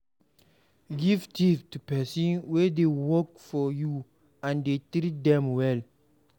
Give tip to persin wey de work for you and dey treat them well